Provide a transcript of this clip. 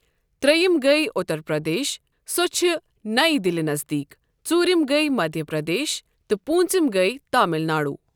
ترٛیٚیِم گٔیۍ اُتر پردیش سۄ چھِ نیِہ دہلی نزدیٖک ، ژوٗرِم گٔیۍ مدھیا پردیش تہٕ پوٗنٛژِم گٔیۍ تامِل ناڈو۔